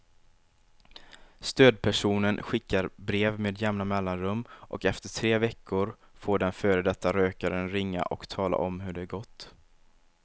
Stödpersonen skickar brev med jämna mellanrum och efter tre veckor får den före detta rökaren ringa och tala om hur det gått.